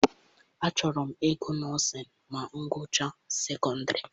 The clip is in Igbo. Achọrọ m ịgụ nọọsịn ma m gụchaa sekọndịrị.